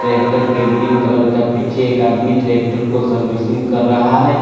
Tractor की green colour का पिच्छे एक आदमी ट्रेक्टर को सर्विसिंग कर रहा है।